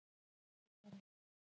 Birkihvammur